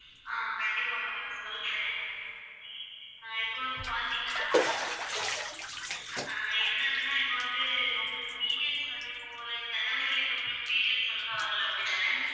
ஆஹ் கண்டிப்பா ma'am நான் சொல்றேன். ஆஹ் இப்போ வந்து பாத்தீங்கன்னா ஆஹ் என்னதுன்னா இப்போ வந்துஉங்களுக்கு வந்து periods வந்து போன ஜனவரில இருந்து periods ஒழுங்கா வரல அப்படித்தானா?